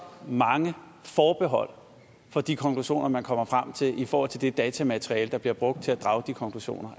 mange forbehold for de konklusioner man kommer frem til i forhold til det datamateriale der bliver brugt til at drage de konklusioner